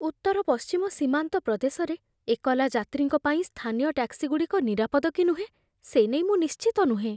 ଉତ୍ତରପଶ୍ଚିମ ସୀମାନ୍ତ ପ୍ରଦେଶରେ ଏକଲା ଯାତ୍ରୀଙ୍କ ପାଇଁ ସ୍ଥାନୀୟ ଟ୍ୟାକ୍ସିଗୁଡ଼ିକ ନିରାପଦ କି ନୁହେଁ ସେ ନେଇ ମୁଁ ନିଶ୍ଚିତ ନୁହେଁ ।